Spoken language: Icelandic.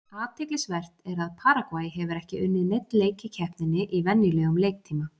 Athyglisvert er að Paragvæ hefur ekki unnið neinn leik í keppninni í venjulegum leiktíma.